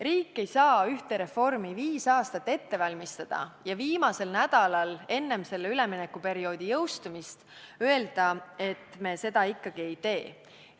Riik ei saa ühte reformi viis aastat ette valmistada ja viimasel nädalal enne selle üleminekuperioodi lõppu öelda, et me seda ikkagi ei tee.